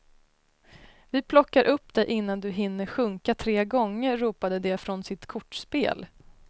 Vi plockar upp dig innan du hinner sjunka tre gånger, ropade de från sitt kortspel.